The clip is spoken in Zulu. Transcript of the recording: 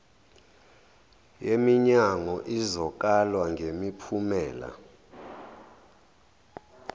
yeminyango izokalwa ngemiphumela